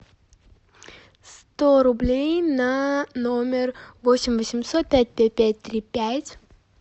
сто рублей на номер восемь восемьсот пять пять пять три пять